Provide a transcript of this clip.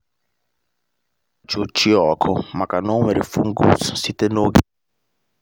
a kpọrọ m mulch ochie ọkụ maka na o nwere fungus site n’oge gara aga